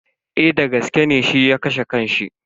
Eh dagaske ne shi ya kashe kan shi.